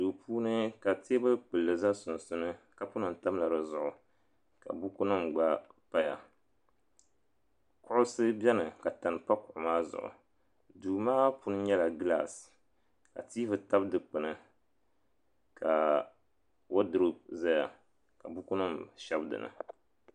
Duu puuni ka teebuli kpulli za di sunsuuni kapu nima tamla di zuɣu ka buku nima gba paya kuɣusi beni ka tani pa kuɣu maa zuɣu duu maa puuni nyɛla gilaasi ka tiivi tabi dikpini ka woduropi zaya ka buku nima shɛb dini.